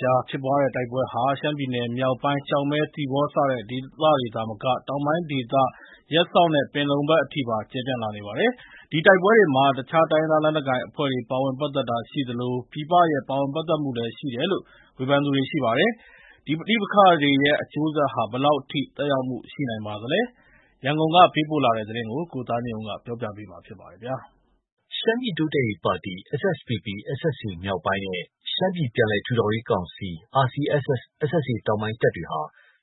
ကြား ဖြစ်ပွားတဲ့ တိုက်ပွဲတွေဟာ ရှမ်းပြည်နယ်မြောက်ပိုင်း ကျောက်မဲ၊ သီပေါ စတဲ့ဒေသတွေသာမက တောင်ပိုင်းဒေသ ရပ်စောက်၊ ပင်လုံဘက်ထိပါ ကျယ်ပြန့်လာနေပါတယ်။ ဒီတိုက်ပွဲတွေမှာ အခြား တိုင်းရင်းသားလက်နက်ကိုင်အဖွဲ့တွေ ပါဝင်ပတ်သက်တာရှိသလို ပြည်ပရဲ့ ပါဝင်ပတ်သက်မှုလည်း ရှိတယ်လို့ ဝေဖန်သူတွေ ရှိပါတယ်။ ဒီပဋိပက္ခတွေရဲ့ အကျိုးဆက်ဟာ ဘယ်လောက်ထိ သက်ရောက်မှု ရှိနိုင်ပါသလဲ။ ရန်ကုန်ကပေးပို့လာတဲ့သတင်း ကိုသားညွန့်ဦး ပြောပြမှာပါ။ ရှမ်းပြည်တိုးတက်ရေးပါတီ SSPP/SSA မြောက်ပိုင်းနဲ့ ရှမ်းပြည်ပြန်လည်ထူထောင်ရေးကောင်စီ RCSS/SSA တောင်ပိုင်းတပ်တွေဟာ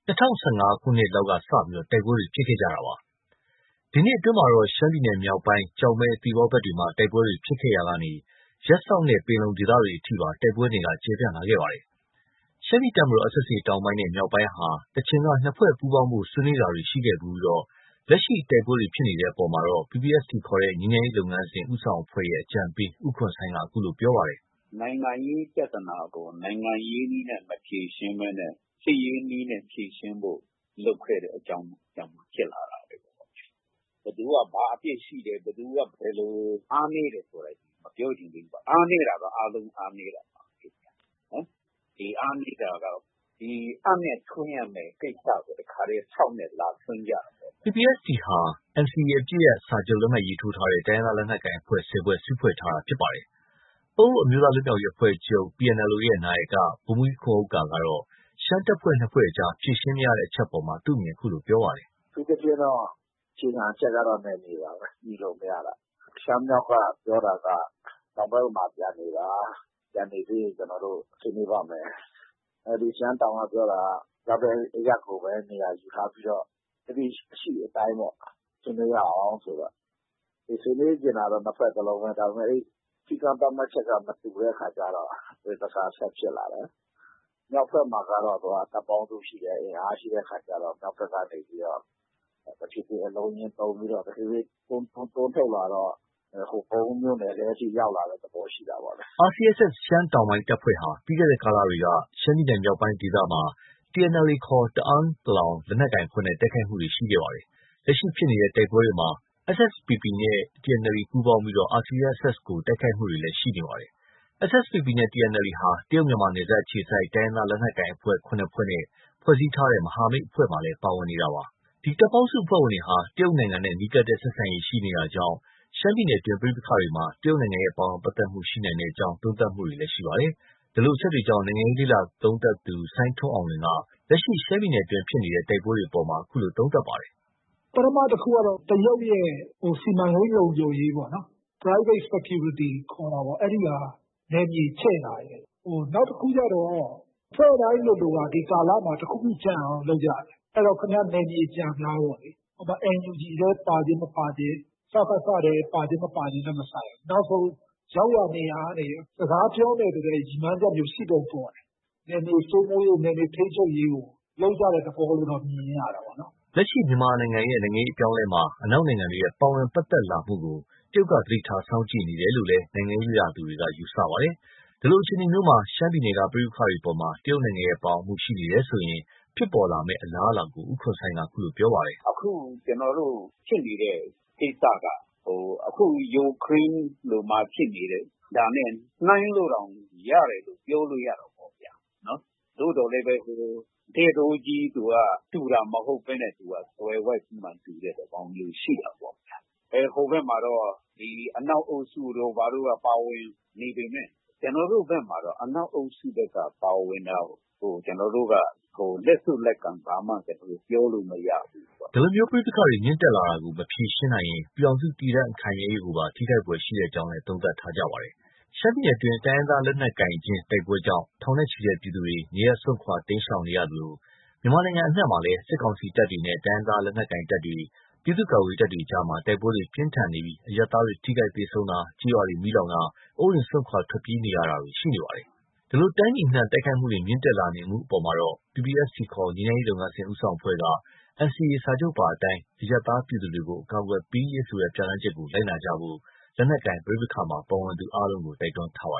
၂၀၁၅ ခုနှစ်လောက်ကစတင်ပြီး တိုက်ပွဲတွေ ဖြစ်ခဲ့တာပါ။ ဒီနှစ်အတွင်းမှာတော့ ရှမ်းပြည်နယ်မြောက်ပိုင်း ကျောက်မဲ၊ သီပေါဘက်တွေမှာ တိုက်ပွဲတွေ ဖြစ်ခဲ့ရာက ရပ်စောက်နဲ့ ပင်လုံဒေသဘက်တွေ အထိပါ တိုက်ပွဲနယ်က ကျယ်ပြန့်လာခဲ့တာပါ။ ရှမ်းပြည်တပ်မတော် SSA တောင်ပိုင်းနဲ့ မြောက်ပိုင်းဟာ တချိန်က နှစ်ဖွဲ့ပူးပေါင်းဖို့ ဆွေးနွေးတာတွေ ရှိခဲ့ဖူးပြီး လက်ရှိ တိုက်ပွဲတွေဖြစ်နေတဲ့အပေါ်မှာ PPST ခေါ် ငြိမ်းချမ်းရေးလုပ်ငန်းစဉ် ဦးဆောင်အဖွဲ့ရဲ့ အကြံပေး ဦးခွန်ဆိုင်းက အခုလို ပြောပါတယ်။ “နိုင်ငံရေးပြဿနာကို နိုင်ငံရေးနည်းနဲ့ မဖြေရှင်းဘဲနဲ့ စစ်ရေးနည်းနဲ့ ဖြေရှင်းဖို့လုပ်ခဲ့တဲ့ အကြောင်းကြောင့် ဖြစ်လာတာပဲ။ ဘယ်သူက ဘာအပြစ်ရှိတယ်၊ ဘယ်သူက ဘယ်လိုဆိုတာတွေ မပြောချင်သေးဘူး။ အားနည်းတာက အားလုံး အားနည်းတာပဲ။ ဒီအားနည်းတာက အပ်နဲ့ထွင်းရမယ့်ကိစ္စကို တခါတည်း ဆောက်နဲ့ လာထွင်းကြတာပေါ့ဗျာ။” PPST ဟာ NCA အပစ်ရပ်စာချုပ် လက်မှတ်ထိုးထားတဲ့ တိုင်းရင်းသား လက်နက်ကိုင်အဖွဲ့ ၁၀ ဖွဲ့ စုဖွဲ့ထားတာ ဖြစ်ပါတယ်။ ပအိုဝ်းအမျိုးသားလွတ်မြောက်ရေးအဖွဲ့ချုပ် PNLO ရဲ့ နာယက ဗိုလ်မှူးကြီးခွန်ဥက္ကာက ရှမ်းတပ်ဖွဲ့ ၂ ဖွဲ့အကြား ဖြေရှင်းမရတဲ့ အချက်အပေါ် အခုလိုပြောပါတယ်။ “အထူးသဖြင့်တော့ အခြေခံအချက်ကတော့ နယ်မြေပါပဲ။ ညှိလို့မရတာ။ ရှမ်းမြောက်က ပြောတာက တောင်ဘက်မှာ ပြန်နေပါ။ ပြန်နေပြီးရင် ကျနော်တို့ ဆွေးနွေးပါ့မယ်။ ရှမ်းတောင်ကပြောတာက ရောက်တဲ့အရပ်ကိုပဲ နေရာယူထားပြီးတော့ လက်ရှိ အရှိအတိုင်းပေါ့ ဆွေးနွေးရအောင်ဆိုတော့၊ ဆွေးနွေးချင်တာတော့ နှစ်ဖွဲ့စလုံးပဲ။ ဒါပေမယ့် စည်းကမ်းသတ်မှတ်ချက်က မတူတဲ့အခါကျတော့ ပဋိပက္ခက ဆက်ဖြစ်လာတယ်။ မြောက်ဘက်မှာကျတော့ တပ်ပေါင်းစုရှိတယ်။ အင်အားရှိတဲ့ အခါကျတော့ မြောက်ဘက်ကနေပြီးတော့ တဖြည်းဖြည်း အလုံးအရင်းသုံးပြီး တွန်းထုတ်လာတော့ ဟိုပုံးမြို့နယ်ထဲအထိ ရောက်လာတဲ့သဘော ရှိတာပေ့ါလေ။” RCSS ရှမ်းတောင်တပ်ဖွဲ့ဟာ ပြီးခဲ့တဲ့ကာလတွေက ရှမ်းပြည်နယ်မြောက်ပိုင်းဒေသမှာ TNLA ခေါ် တအန်း လက်နက်ကိုင်အဖွဲ့နဲ့ တိုက်ခိုက်တာတွေ ရှိခဲ့တာပါ။ လက်ရှိဖြစ်ပွားတဲ့ တိုက်ပွဲတွေမှာ SSPP နဲ့ TNLA ပူးပေါင်းပြီး RCSS ကို တိုက်ခိုက်တယ်ဆိုတဲ့ သတင်းတွေ ထွက်ပေါ်နေတာပါ။ SSPP နဲ့ TNLA ဟာ တရုတ်-မြန်မာ နယ်စပ်အခြေစိုက် တိုင်းရင်းသား လက်နက်ကိုင်အဖွဲ့ ၇ ဖွဲ့နဲ့ ဖွဲ့စည်းထားတဲ့ မဟာမိတ်အဖွဲ့မှာလည်း ပါဝင်နေတာ ဖြစ်ပါတယ်။ ဒီတပ်ပေါင်းစုအဖွဲ့ဝင်တွေဟာ တရုတ်နိုင်ငံနဲ့ နီးကပ်တဲ့ ဆက်ဆံရေး ရှိနေတာကြောင့် ရှမ်းပြည်နယ်အတွင်း ပဋိပက္ခတွေမှာ တရုတ်ရဲ့ ပါဝင်ပတ်သက်မှု ရှိနိုင်ကြောင်း သုံးသပ်တာတွေလည်း ရှိနေပါတယ်။ ဒီလိုအချက်တွေကြောင့် နိုင်ငံရေးလေ့လာသုံးသပ်သူ စိုင်းထွန်းအောင်လွင်က လက်ရှိ ရှမ်းပြည်နယ်အတွင်း ဖြစ်ပွားနေတဲ့ တိုက်ပွဲတွေအပေါ် အခုလို သုံးသပ်ပါတယ်။ “ပထမတခုကတော့ တရုတ်ရဲ့ စီမံကိန်း လုံခြုံရေးပေါ့နော်။ Private Security ခေါ်တာပေါ့။ အဲဒီဟာ နယ်မြေချဲ့တာရယ်၊ နောက်တခုကတော့ အဖွဲ့တိုင်းလိုလိုက ဒီကာလမှာ နောက်တခုကျန်အောင် လုပ်ကြတယ်။ အဲတော့ နယ်မြေကျန်မလားပေ့ါလေ။ NUG ထဲ ပါခြင်းမပါခြင်း။ စကစထဲ ပါခြင်း မပါခြင်းနဲ့ မဆိုင်ဘူး။ ရောက်ရာနေရာကနေ စကားပြောမယ်ဆိုတဲ့ ရည်မှန်းချက်မျိုး ရှိပုံပေါ်တယ်။ နယ်မြေစိုးမိုးရေး၊ နယ်မြေထိန်းချုပ်ရေးကို လုပ်ကြတဲ့ သဘောလို့တော့ မြင်ရတာပေ့ါ။” လက်ရှိ မြန်မာပြည်ရဲ့ နိုင်ငံရေး အပြောင်းအလဲမှာ အနောက်နိုင်ငံတွေရဲ့ ပါဝင်ပတ်သက်လာမှုကို တရုတ်က သတိထား စောင့်ကြည့်နေတယ်လို့လည်း နိုင်ငံရေးလေ့လာသူတွေက သုံးသပ်ထားတာပါ။ ဒီလိုအခြေအနေမှာ ရှမ်းပြည်နယ်က ပဋိပက္ခတွေအပေါ် တရုတ်နိုင်ငံရဲ့ ပါဝင်မှု ရှိနေတယ်ဆိုရင် ဖြစ်ပေါ်လာမယ့် အလားအလာကို ဦးခွန်ဆိုင်းက အခုလို ပြောပါတယ်။ “အခု ကျနော်တို့ဖြစ်နေတဲ့ ကိစ္စက အခု ယူကရိန်းမှာဖြစ်နေတဲ့ဟာနဲ့ နှိုင်းလို့တောင် ရတယ်လို့ ပြောလို့ရတာပေါ့။ သို့သော်လည်း သူက တည့်တိုးကြီး တူတာမဟုတ်ဘဲနဲ့ သွယ်ဝိုက်ပြီးမှ တူတဲ့သဘောမျိုး ရှိတာပေါ့ဗျာ။ ဟိုဘက်မှာတော့ ဒီ အနောက်အုပ်စုတို့ ဘာတို့က ပါဝင်နေပေမယ့် ကျနော်တို့ဘက်မှာတော့ အနောက်အုပ်စုက ပါဝင်တာကို ကျနော်တို့က လက်ဆုပ်လက်ကိုင် ဘာမှ ပြောလို့မရဘူးပေါ့။” ဒီလို ပဋိပက္ခတွေ မြင့်တက်လာတာကို မဖြေရှင်းနိုင်ရင် ပြည်ထောင်စု တည်တံ့ခိုင်မြဲရေးကိုပါ ထိခိုက်ဖွယ်ရှိကြောင်းလည်း သုံးသပ်ထားပါတယ်။ ရှမ်းပြည်နယ်အတွင်း တိုင်းရင်းသား လက်နက်ကိုင်ချင်း တိုက်ပွဲကြောင့် ထောင်နဲ့ချီတဲ့ ပြည်သူတွေ နေရပ်စွန့်ခွာ တိမ်းရှောင်နေရသလို မြန်မာနိုင်ငံ အနှံ့မှာလည်း စစ်ကောင်စီတပ်တွေနဲ့ တိုင်းရင်းသား လက်နက်ကိုင်တပ်တွေ၊ ပြည်သူ့ကာကွယ်ရေးတပ်တွေ အကြားမှာ တိုက်ပွဲတွေ ပြင်းထန်နေပြီး အရပ်သားတွေ ထိခိုက်သေဆုံးတာ၊ ကျေးရွာတွေ မီးလောင်တာ၊ အိုးအိမ်စွန့်ခွာ ထွက်ပြေးနေရတာတွေ မြင့်တက်နေပါတယ်။ ဒီလို တိုင်းပြည်အနှံ့ တိုက်ခိုက်မှုတွေ မြင့်တက်လာနေမှု အပေါ်မှာတော့ PPST ခေါ် ငြိမ်းချမ်းရေးလုပ်ငန်းစဉ် ဦးဆောင်အဖွဲ့က NCA စာချုပ်ပါအတိုင်း အရပ်သား ပြည်သူတွေကို အကာအကွယ်ပေးရေးဆိုတဲ့ ပြဋ္ဌာန်းချက်ကို လိုက်နာကြဖို့ လက်နက်ကိုင် ပဋိပက္ခမှာ ပါဝင်သူအားလုံးကို တိုက်တွန်းထားပါ